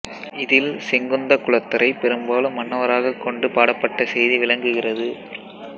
இதில் செங்குந்த குலத்தரைப் பெரும்பாலும் மன்னவராகக் கொண்டு பாடப்பட்ட செய்தி விளங்குகிறது